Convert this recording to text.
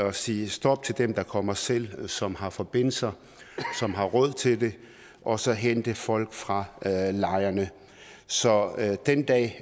at sige stop til dem der kommer selv og som har forbindelser og råd til det og så hente folk fra lejrene så den dag